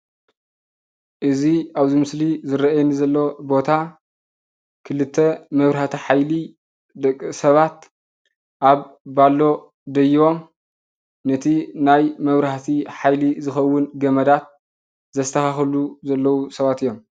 እዚ ኣብ እዚ ምስሊ ዝርአየኒ ዘሎ ቦታ ክልተ መብራሃቲ ሓይሊ ደቂ ሰባት ኣብ ባሎ ደይቦም ነቲ ናይ መብራህቲ ሓይሊ ዝኸውን ገመዳት ዘስታኻኽሉ ዘለው ሰባት እዮም።